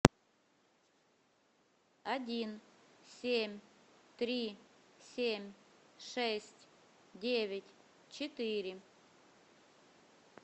один семь три семь шесть девять четыре